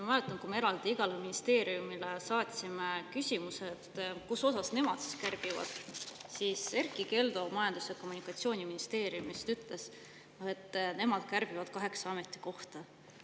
Ma mäletan, et kui me saatsime igale ministeeriumile eraldi küsimuse kärpimise kohta, siis Erkki Keldo ütles, et Majandus‑ ja Kommunikatsiooniministeerium kärbib kaheksa ametikohta.